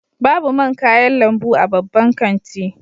Babu man kayan lambu a babban kanti